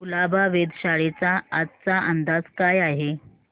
कुलाबा वेधशाळेचा आजचा अंदाज काय आहे